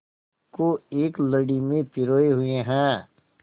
को एक लड़ी में पिरोए हुए हैं